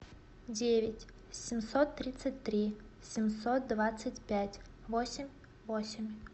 девять семьсот тридцать три семьсот двадцать пять восемь восемь